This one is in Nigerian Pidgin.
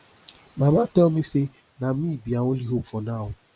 my mama tell me say na me be her only hope now